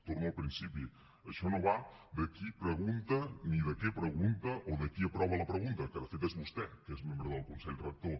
torno al principi això no va de qui pregunta ni de què pregunta o de qui aprova la pregunta que de fet és vostè que és membre del consell rector